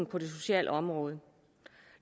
på det sociale område